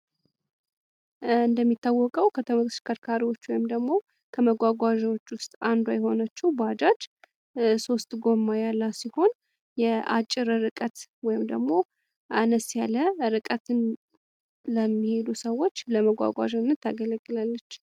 እንደሚታወቀው ከተሽከርካሪዎች ወይም ደግሞ ከመጓጓዣ ውስጥ አንዱ የሆነችው ባጃጅ ሶስት ጎማ ያላት ሲሆን የአጭር ርቀት ወይም ደግሞ አነስ ያለ ርቀት ለሚሄዱ ሰዎች ለመጓጓዣነት ታገለግላለች።